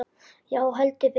Já, heldur betur!